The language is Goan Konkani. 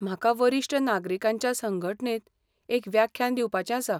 म्हाका वरिश्ट नागरीकांच्या संघटणेंत एक व्याख्यान दिवपाचें आसा.